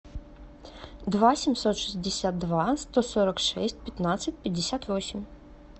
два семьсот шестьдесят два сто сорок шесть пятнадцать пятьдесят восемь